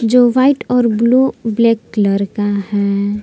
जो व्हाइट और blue black colour का है।